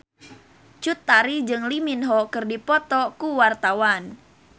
Cut Tari jeung Lee Min Ho keur dipoto ku wartawan